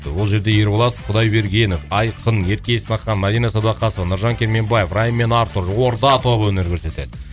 ол жерде ерболат құдайбергенов айқын ерке есмахан мадина садуақасова нұржан керменбаев райм мен артур орда тобы өнер көрсетеді